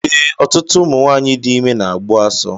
Ee, ọtụtụ ụmụ nwanyị dị ime na-agbu asọ